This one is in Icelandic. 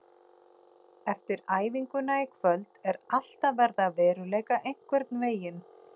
Eftir æfinguna í kvöld er allt að verða að veruleika einhvern veginn.